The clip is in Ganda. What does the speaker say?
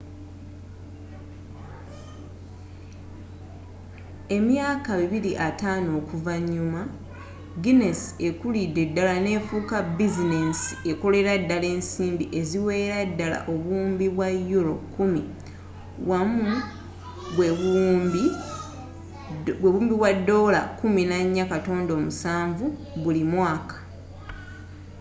emyaka 250 oluvanyuma ginesi ekulidde ddala nefuuka bizinensi ekolera ddala ensimbi eziwererera ddala obuwumbi bwa euro 10 us$14.7 buwumbi buli mwaka